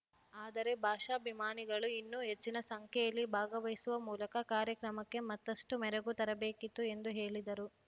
ಆದರೆ ಭಾಷಾಭಿಮಾನಿಗಳು ಇನ್ನು ಹೆಚ್ಚಿನ ಸಂಖ್ಯೆಯಲ್ಲಿ ಭಾಗವಹಿಸುವ ಮೂಲಕ ಕಾರ್ಯಕ್ರಮಕ್ಕೆ ಮತ್ತಷ್ಟುಮೆರಗು ತರಬೇಕಿತ್ತು ಎಂದು ಹೇಳಿದರು